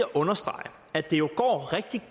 understrege at det jo går rigtig